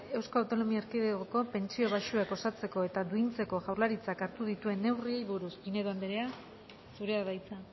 eaeko pentsio baxuak osatzeko eta duintzeko jaurlaritzak hartuko dituen neurriei buruz pinedo andrea zurea da hitza